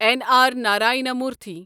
N R Narayana موٗرتھٕے